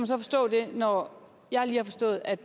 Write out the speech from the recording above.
så forstå det når jeg lige har forstået at